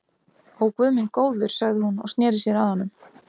Ó, guð minn góður sagði hún og sneri sér að honum.